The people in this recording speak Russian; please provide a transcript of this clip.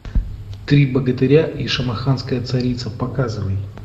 три богатыря и шамаханская царица показывай